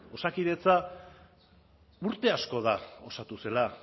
osakidetza urte asko da osatu zela